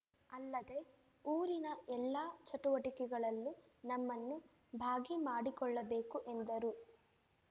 ಅಲ್ಲದೆ ಊರಿನ ಎಲ್ಲಾ ಚಟುವಟಿಕೆಗಳಲ್ಲೂ ನಮ್ಮನ್ನು ಭಾಗಿ ಮಾಡಿಕೊಳ್ಳಬೇಕು ಎಂದರು